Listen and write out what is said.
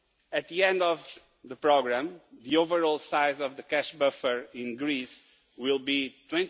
At the end of the programme, the overall size of the cash buffer in Greece will be EUR